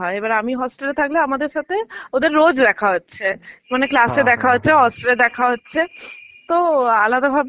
হয়, এবার আমি hostel এ থাকলে আমাদের সাথে ওদের রোজ দেখা হচ্ছে. মানে class এ দেখা হচ্ছে, hostel এ দেখা হচ্ছে. তো আলাদা ভাবে